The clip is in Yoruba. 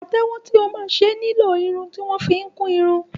Pàtẹ́wọ́ tí o máa ṣe máa nílò irun tí wọ́n fi ń kún irun.